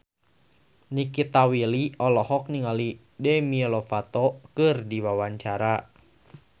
Nikita Willy olohok ningali Demi Lovato keur diwawancara